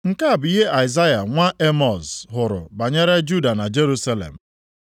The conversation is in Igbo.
Nke a bụ ihe Aịzaya nwa Emọz hụrụ banyere Juda na Jerusalem.